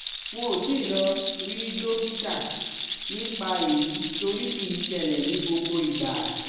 N ò tí ì lọ rí dọ́kítà nípa èyí torí kì í ṣẹlẹ̀ ní gbogbo ìgbà